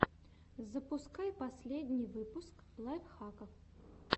запускай последний выпуск лайфхаков